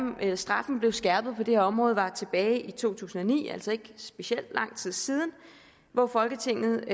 straffen blev skærpet på det her område var tilbage i to tusind og ni altså for ikke specielt lang tid siden hvor folketinget